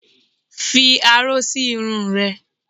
Fi aró sí irun rẹ!